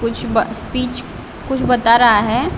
कुछ स्पीच कुछ बता रहा है।